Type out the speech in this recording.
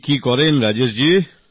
আপনি কি করেন রাজেশ জি